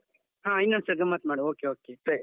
ಹಾ ಇನ್ನೊಂದು ಸರ್ತಿ ಗಮ್ಮತ್ ಮಾಡುವ okay okay ಸರಿ.